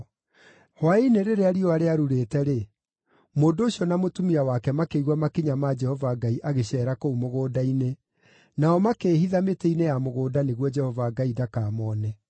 Hwaĩ-inĩ rĩrĩa riũa rĩarurĩte-rĩ, mũndũ ũcio na mũtumia wake makĩigua makinya ma Jehova Ngai agĩceera kũu mũgũnda-inĩ, nao makĩĩhitha mĩtĩ-inĩ ya mũgũnda nĩguo Jehova Ngai ndakamone.